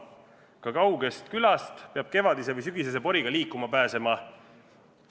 Ka kauges külas peab kevadise või sügisese poriga liikuma pääsema.